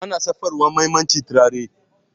ana shafawa mamaci turare